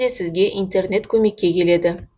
сізге интернет көмекке келеді